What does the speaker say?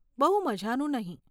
બહુ મઝાનું નહીં.